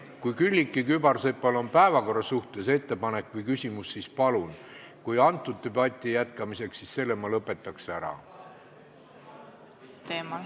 Kui Külliki Kübarsepal on päevakorra suhtes ettepanek või küsimus, siis palun, kui sama debati jätkamiseks, siis selle ma lõpetaks ära.